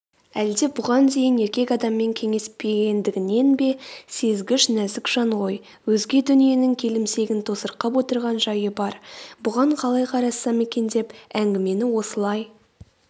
әлде бұған дейін еркек адаммен кеңеспегендігінен бе сезгіш нәзік жан ғой өзге дүниенің келімсегін тосырқап отырған жайы бар.бұған қалай қарассам екен деп әңгімені осылай